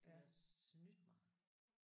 De har snydt mig